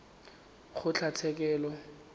kgotlatshekelo